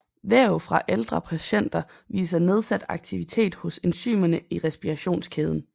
Væv fra ældre patienter viser nedsat aktivitet hos enzymerne i respirationskæden